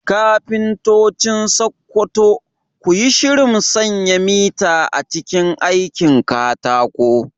Kafintocin Sakkwato, ku yi shirin sanya mita a cikin aikin katako